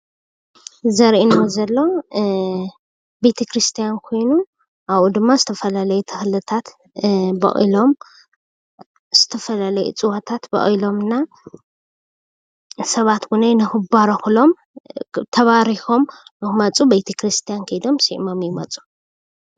እዚ ዘሪኢና ዘሎ ቤተ ክርስትያን ኮይኑ አቡኡ ድማ ዝተፈላለዩ ተኽሊታት በቒሎም፣ ዝተፈላለዩ እፅዋታት በቒሎም እና ስባት እውነይ ንክብባረኽሎም ተባሪኾም ንክመፁ ቤተክርስትያን ከይዶም ስዒሞም ይመፁ፡፡